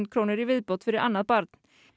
krónur í viðbót fyrir annað barn